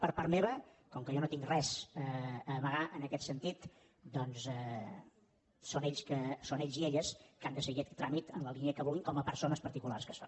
per part meva com que jo no tinc res a amagar en aquest sentit doncs són ells i elles que han de seguir aquest tràmit en la línia que vulguin com a persones particulars que són